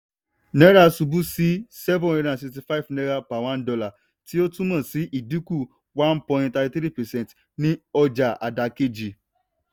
náírà ṣubú sí seven hundred and sixty five naira per one dollar tí ó túmọ̀ sí ìdínkù one point thirty three percent ní ọjà àdàkejì.